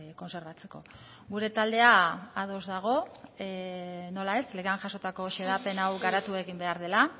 kontserbatzeko gure taldea ados dago nola ez legean jasotako xedapen hau garatu egin behar dela